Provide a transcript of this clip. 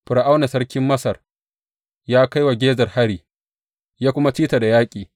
Fir’auna sarkin Masar ya kai wa Gezer hari, ya kuma ci ta da yaƙi.